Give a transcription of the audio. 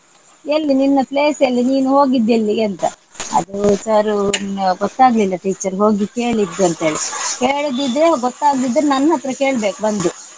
ಎಲ್ಲಿ ನಿನ್ನ place ಎಲ್ಲಿ ನೀನು ಹೊಗಿದ್ದೆಲ್ಲಿಗೆಂತ ಅದೂ sir ಉ ಅಹ್ ಗೊತ್ತಾಗ್ಲಿಲ್ಲ teacher ಹೋಗಿ ಕೇಳಿದ್ದು ಅಂತೇಲಿ ಕೆಳಿದಿದ್ರು ಗೊತ್ತಾಗದಿದ್ರು ನನ್ನತ್ರ ಕೇಳ್ಬೇಕು ಬಂದು.